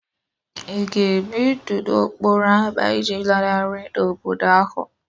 Ị ga-ebi ndụ n'okporo ámá iji lanarị n'obodo ahụ?